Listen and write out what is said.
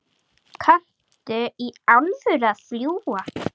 Kanntu í alvöru að fljúga?